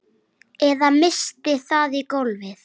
Eða missti það í gólfið.